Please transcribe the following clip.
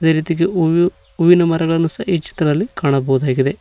ಅದೇ ರೀತಿಯಾಗಿ ಹೂವು ಹೂವಿನ ಮರಗಳನ್ನು ಸಹ ಈ ಚಿತ್ರದಲ್ಲಿ ಕಾಣಬಹುದಾಗಿದೆ.